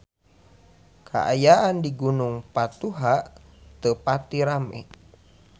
Kaayaan di Gunung Patuha teu pati rame